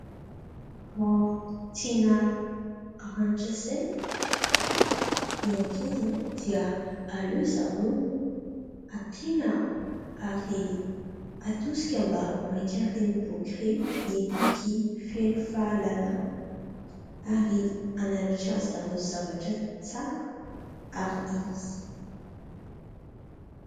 Raha tiana haranin-tsaina ny ankizy dia aleo zareo ampiana ary atosika mba hamaky an'ireny boky ireny, ny boky feno fahalalana ary hananatra an-dry zareo zavatra tsara ary izy.